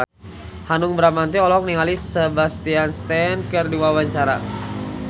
Hanung Bramantyo olohok ningali Sebastian Stan keur diwawancara